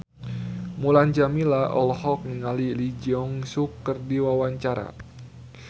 Mulan Jameela olohok ningali Lee Jeong Suk keur diwawancara